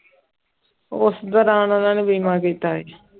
ਉਸ ਦੌਰਾਨ ਉਹਨਾਂ ਨੇ ਬੀਮਾ ਕੀਤਾ ਸੀ।